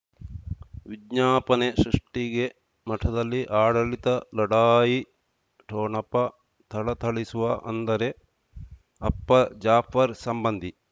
ವಿಜ್ಞಾಪನೆ ಸೃಷ್ಟಿಗೆ ಮಠದಲ್ಲಿ ಆಡಳಿತ ಲಢಾಯಿ ಠೊಣಪ ಥಳಥಳಿಸುವ ಅಂದರೆ ಅಪ್ಪ ಜಾಫರ್ ಸಂಬಂಧಿ